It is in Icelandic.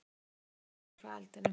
Mikinn reyk lagði frá eldinum.